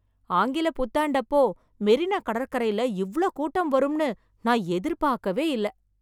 ஆங்கில புத்தாண்டப்போ மெரினா கடற்கரையில இவ்ளோ கூட்டம் வரும்ன்னு, நான் எதிர்பார்க்கவே இல்ல.